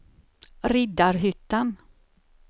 Riddarhyttan